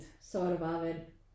Så var der bare vand